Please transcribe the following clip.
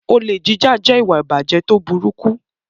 Olè jíjà jẹ́ ìwà ìbàjẹ́ tó burúkú.